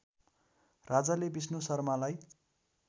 राजाले विष्णु शर्मालाई